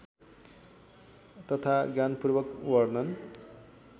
तथा ज्ञानपूर्वक वर्णन